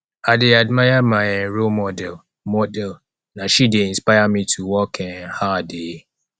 i dey admire my um role model model na she dey inspire me to work um hard um